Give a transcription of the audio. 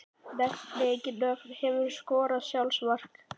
Nefni engin nöfn Hefurðu skorað sjálfsmark?